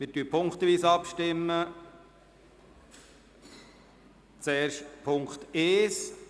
Wir stimmen punktweise ab, zuerst über Punkt 1.